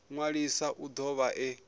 ṅwalisa u do vha e